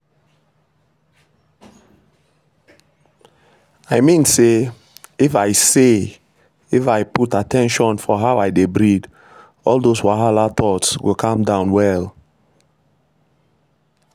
i mean say if i say if i put at ten tion for how i dey breathe all those wahala thoughts go calm down well.